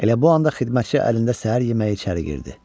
Elə bu anda xidmətçi əlində səhər yeməyi içəri girdi.